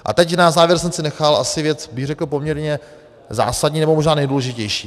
A teď na závěr jsem si nechal asi věc, bych řekl, poměrně zásadní, nebo možná nejdůležitější.